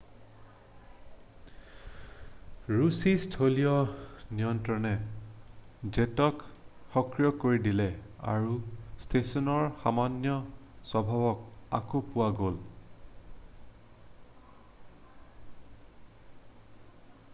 ৰুছী স্থলীয় নিয়ন্ত্ৰণে জেটক সক্ৰিয় কৰি দিলে আৰু ষ্টেচনৰ সামান্য স্বভাৱক আকৌ পোৱা গ'ল